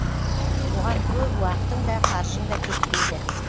оған көп уақытың да қаржың да кетпейді